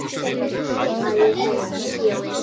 Að ég sé í bíói.